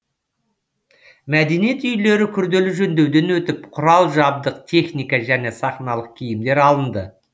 мәдениет үйлері күрделі жөндеуден өтіп құрал жабдық техника және сахналық киімдер алынды